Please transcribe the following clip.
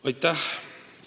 Aitäh!